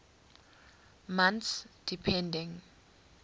months depending